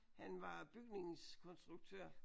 Han var bygningskonstruktør